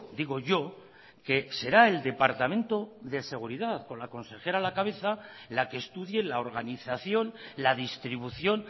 digo yo que será el departamento de seguridad con la consejera a la cabeza la que estudie la organización la distribución